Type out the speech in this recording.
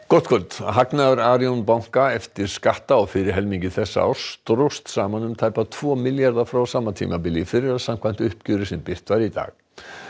gott kvöld hagnaður Arion banka eftir skatta á fyrri helmingi þessa árs dróst saman um tæpa tvo milljarða frá sama tímabili í fyrra samkvæmt uppgjöri sem birt var í dag